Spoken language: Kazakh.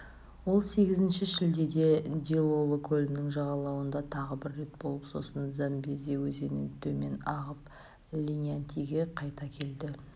ол сегізінші шілдеде дилоло көлінің жағалауында тағы бір рет болып сосын замбези өзенін төмен ағып линьятиге қайта келді